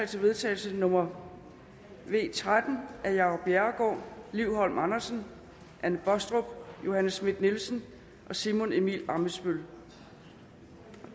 til vedtagelse nummer v tretten af jacob bjerregaard liv holm andersen anne baastrup johanne schmidt nielsen og simon emil ammitzbøll